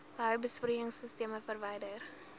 behou besproeiingsisteme verwyder